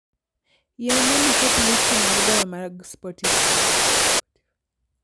Yie mondo iket listi mar goyo mag spotify